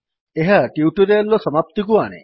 ଏହା ଟ୍ୟୁଟୋରିଆଲ୍ ର ସମାପ୍ତିକୁ ଆଣେ